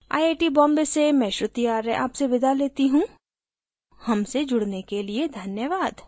I I T Bombay से मैं श्रुति आर्य आपसे विदा लेती हूँ हमसे जुड़ने के लिए धन्यवाद